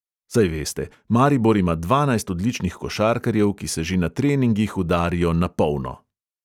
Saj veste, maribor ima dvanajst odličnih košarkarjev, ki se že na treningih udarijo "na polno".